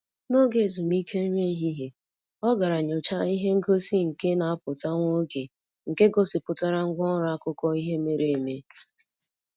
N'oge ezumike nri ehihie, ọ gara nyọchaa ihe ngosi nke na-apụta nwa oge nke gosipụtara ngwa ọrụ akụkọ ihe mere eme.